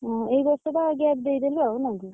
ଓହୋ ଏଇବର୍ଷ ଟା gap ଦେଇଦେଲୁ ଆଉ ନା କି।